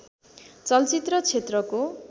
चलचित्र क्षेत्रको